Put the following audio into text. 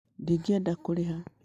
Ndingĩenda kũrĩha